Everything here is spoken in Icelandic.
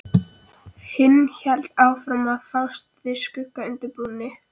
Hinn hélt áfram að fást við skuggann undir brúnni.